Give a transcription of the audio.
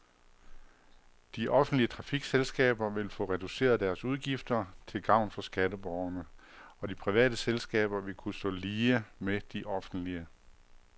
De offentlige trafikselskaber vil få reduceret deres udgifter til gavn for skatteborgerne, og de private selskaber vil kunne stå lige med de offentlige.